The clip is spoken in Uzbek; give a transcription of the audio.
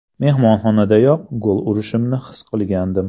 Mehmonxonadayoq gol urishimni his qilgandim.